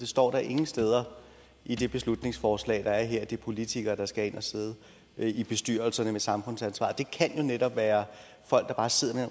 står ingen steder i det beslutningsforslag der er her at det er politikere der skal ind og sidde i bestyrelserne med samfundsansvar det kan jo netop være folk der bare sidder med